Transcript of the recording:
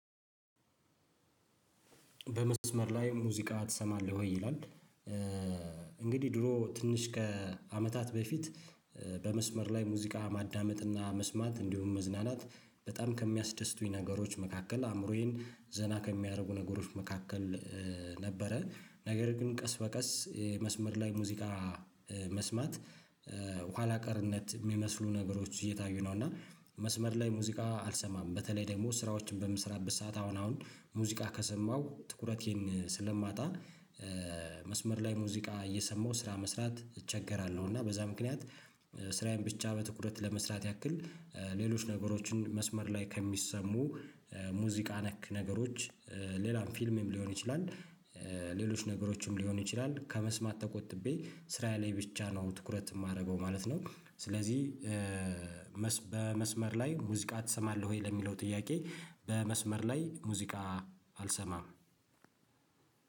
በመስመር ላይ ሙዚቃ ትሰማለህ ወይ ይላል? እንግዲህ ድሮ ትንሽ ከአመታት በፊት በመስመር ላይ ሙዚቃ ማዳመጥና መስማት እንዲሁም መዝናናት በጣም ከሚያስደስቱኝ ነገሮች መካከል አእምሮዬን ዘና ከሚያደርጉ ነገሮች መካከል ነበረ ነገር ግን ቀስ በቀስ መስመር ላይ ሙዚቃ መስማት ኋላ ቀርነት ሚመስሉ ነገሮች እየታዩ ነው። እና መስመር ላይ ሙዚቃ አልሰማም በተለይ ደግሞ ስራዎችን በምስራበት ሰዓት አሁን አሁን ሙዚቃ ከሰማው ትኩረቴን ስለማጣ። መስመር ላይ ሙዚቃ እየሰማሁ ስራ መስራት እቸገራለው። እና በዛ ምክንያት ስራዬን ብቻ በትኩረት ለመስራት ያክል ሌሎች ነገሮችን መስመር ላይ ከሚሰሙ ሙዚቃ ነክ ነገሮች ሌላም ፊልምም ሊሆን ይችላል። ሌሎች ነገሮችም ሊሆን ይችላል ከመስማት ተቆጥቤ ስራ ላይ ብቻ ነው ትኩረት የማደርገው ማለት ነው። ስለዚህ በመስመር ላይ ሙዚቃ ትሰማለህ ወይ ለሚለው ጥያቄ? በመስመር ላይ ሙዚቃ አልሰማም።